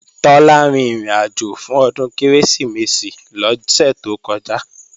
Tọ́lá rin ìrìnàjò fún Ọdún Kérésìmesì lọ́sẹ̀ tó kọjá